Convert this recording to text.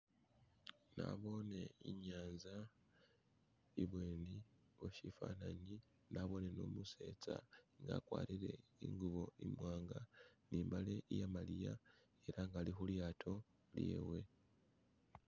nabone inyanza ibweni weshifananyi nabone numusetsa nga akwarire ingubo imwanga nimbale iyamaliya ela nga alihulyato lyewe